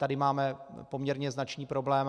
Tady máme poměrně značný problém.